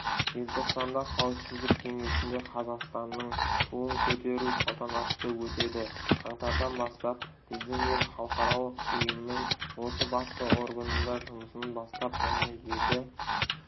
желтоқсанда қауіпсіздік кеңесінде қазақстанның туын көтеру салтанаты өтеді қаңтардан бастап біздің ел халықаралық ұйымның осы басты органында жұмысын бастап оны екі